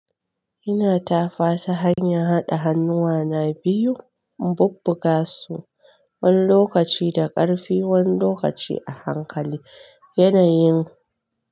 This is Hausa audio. Ina tafa ta hanyar haɗa hannuwa na biyu, inbubbuga su wani lokaci da ƙarfi wani lokaci a hankali. Yanayin.